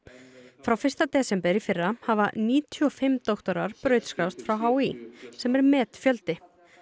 frá fyrsta desember í fyrra hafa níutíu og fimm doktorar brautskráðst frá h í sem er metfjöldi